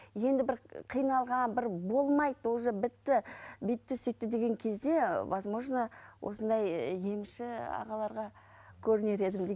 енді бір қиналған бір болмайды уже бітті бүйтті сөйтті деген кезде возможно осындай емші ағаларға көрінер едім